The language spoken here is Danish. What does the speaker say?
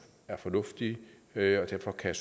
er fornuftige derfor kan